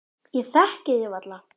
Ég þekkti þig varla.